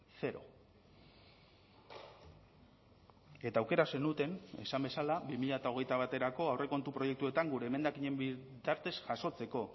zero eta aukera zenuten esan bezala bi mila hogeita baterako aurrekontu proiektuetan gure emendakinen bitartez jasotzeko